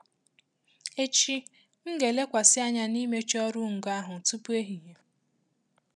Echi, m ga-elekwasị anya n'ịmecha ọrụ ngo ahụ tupu ehihie.